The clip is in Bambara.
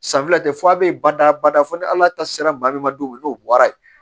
San fila tɛ fo a bɛ badabada fɔ ni ala ta sera maa min ma don min n'o bɔra ye